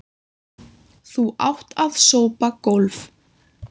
Þú átt að sópa gólf.